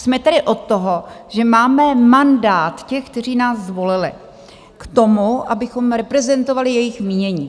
Jsme tady od toho, že máme mandát těch, kteří nás zvolili, k tomu, abychom reprezentovali jejich mínění.